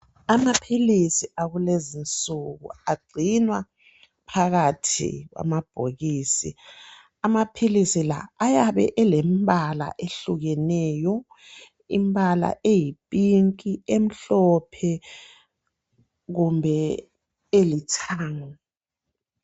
Amaphilisi akulezi nsuku agcinwa phakathi kwamabhokisi . Amaphilisi la ayabe elembala ehlukeneyo .Imbala eyipink ,emhlophe kumbe elithanga.